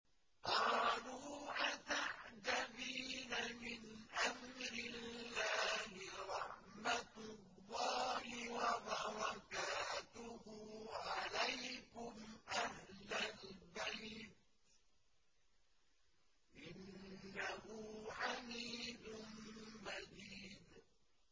قَالُوا أَتَعْجَبِينَ مِنْ أَمْرِ اللَّهِ ۖ رَحْمَتُ اللَّهِ وَبَرَكَاتُهُ عَلَيْكُمْ أَهْلَ الْبَيْتِ ۚ إِنَّهُ حَمِيدٌ مَّجِيدٌ